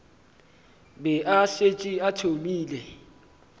be a šetše a thomile